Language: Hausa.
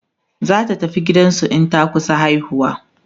zata tafi gidansu in ta kusa haihuwa